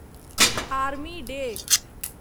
army day